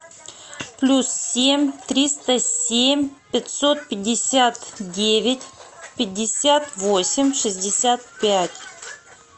плюс семь триста семь пятьсот пятьдесят девять пятьдесят восемь шестьдесят пять